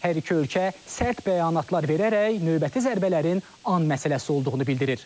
Hər iki ölkə sərt bəyanatlar verərək növbəti zərbələrin an məsələsi olduğunu bildirir.